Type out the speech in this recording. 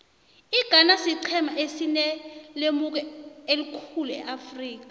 ighana siqhema esinelemuko elikhulu eafrika